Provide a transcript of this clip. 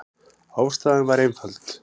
Ástæðan var einföld.